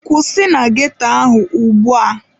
Kwụsị na ghetto ahụ ugbu a!